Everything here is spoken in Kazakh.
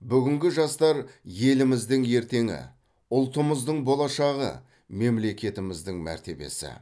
бүгінгі жастар еліміздің ертеңі ұлтымыздың болашағы мемлекетіміздің мәртебесі